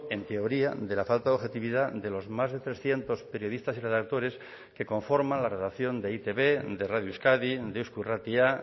en teoría de la falta de objetividad de los más de trescientos periodistas y redactores que conforman la redacción de e i te be de radio euskadi de eusko irratia